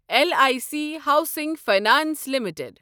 L I C housing finance limited